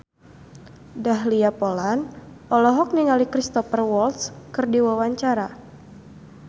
Dahlia Poland olohok ningali Cristhoper Waltz keur diwawancara